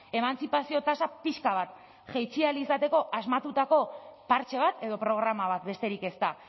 emantzipazio tasa pixka bat jaitsi ahal izateko asmatutako partxe bat edo programa bat besterik ez da